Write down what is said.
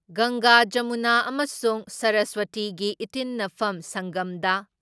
ꯒꯪꯒꯥ, ꯖꯃꯨꯅꯥ ꯑꯃꯁꯨꯡ ꯁꯔꯁꯋꯇꯤꯒꯤ ꯏꯇꯤꯟꯅꯐꯝ ꯁꯪꯒꯝꯗ